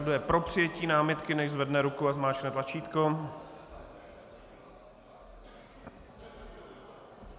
Kdo je pro přijetí námitky, nechť zvedne ruku a zmáčkne tlačítko.